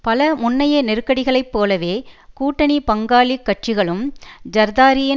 பல முன்னைய நெருக்கடிகளைப் போலவே கூட்டணி பங்காளி கட்சிகளும் ஜர்தாரியின்